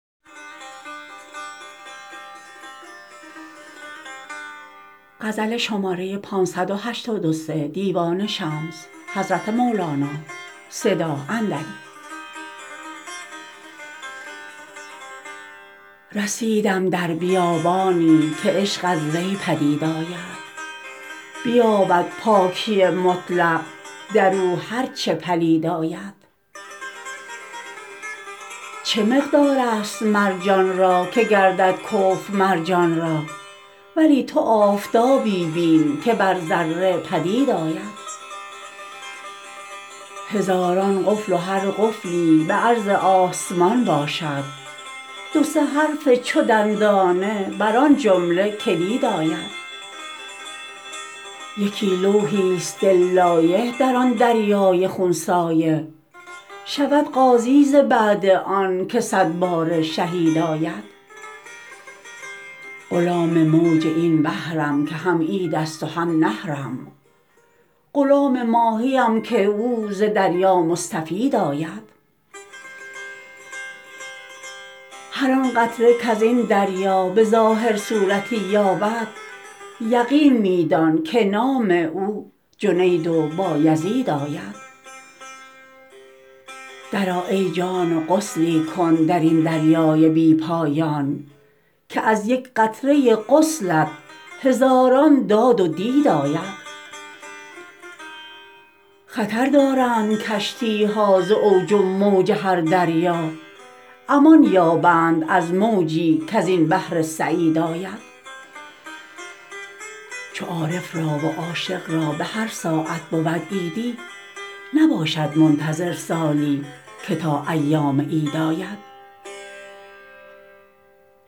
رسیدم در بیابانی که عشق از وی پدید آید بیابد پاکی مطلق در او هر چه پلید آید چه مقدارست مرجان را که گردد کفو مر جان را ولی تو آفتابی بین که بر ذره پدید آید هزاران قفل و هر قفلی به عرض آسمان باشد دو سه حرف چو دندانه بر آن جمله کلید آید یکی لوحیست دل لایح در آن دریای خون سایح شود غازی ز بعد آنک صد باره شهید آید غلام موج این بحرم که هم عیدست و هم نحرم غلام ماهیم که او ز دریا مستفید آید هر آن قطره کز این دریا به ظاهر صورتی یابد یقین می دان که نام او جنید و بایزید آید درآ ای جان و غسلی کن در این دریای بی پایان که از یک قطره غسلت هزاران داد و دید آید خطر دارند کشتی ها ز اوج و موج هر دریا امان یابند از موجی کز این بحر سعید آید چو عارف را و عاشق را به هر ساعت بود عیدی نباشد منتظر سالی که تا ایام عید آید